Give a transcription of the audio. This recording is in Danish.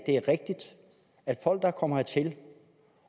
er rigtigt at folk der kommer hertil